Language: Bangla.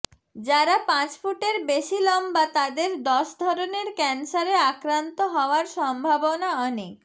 যারা পাঁচ ফুটের বেশি লম্বা তাদের দশ ধরনের ক্যান্সারে আক্রান্ত হওয়ার সম্ভাবনা অনেক